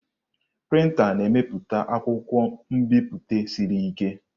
Printa na-emepụta akwụkwọ nbipute siri ike.